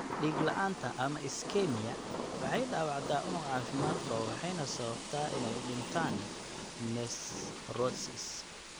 Dhiig la'aanta (ischemia) waxay dhaawacdaa unug caafimaad qaba waxayna sababtaa inay u dhintaan (necrosis).